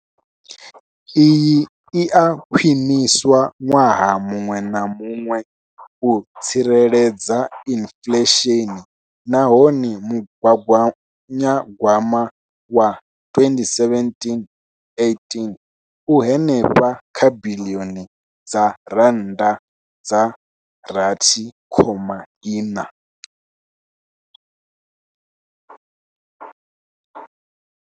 Iyi i a khwiniswa ṅwaha muṅwe na muṅwe u tsireledza inflesheni nahone mugaganyagwama wa 2017,18 u henefha kha biḽioni dza R6.4.